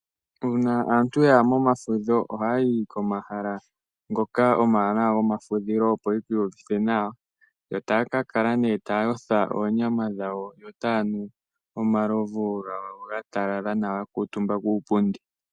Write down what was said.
Uuna aantu yaya momafudho oha ya yi komahala ngoka omawanawa gomafudhilo opo yii yuvithe nawa yo taya ka kala taya yotha oonyama dhawo yo taya nu omalovu gawo ga talala nawa ya kuutumba kuupundi.